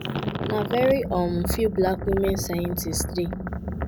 "na very um few black women scientists dey.